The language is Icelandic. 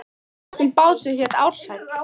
Við áttum bát sem hét Ársæll.